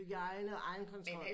Hygiene og egen kontrol